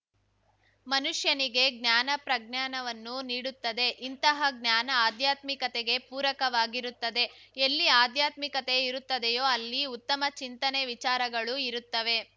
ಮನುಷ್ಯನಿಗೆ ಜ್ಞಾನ ಪ್ರಜ್ಞಾನವನ್ನು ನೀಡುತ್ತದೆ ಇಂತಹ ಜ್ಞಾನ ಆಧ್ಯಾತ್ಮಿಕತೆಗೆ ಪೂರಕವಾಗಿರುತ್ತದೆ ಎಲ್ಲಿ ಆಧ್ಯಾತ್ಮಿಕತೆ ಇರುತ್ತದೆಯೋ ಅಲ್ಲಿ ಉತ್ತಮ ಚಿಂತನೆ ವಿಚಾರಗಳು ಇರುತ್ತವೆ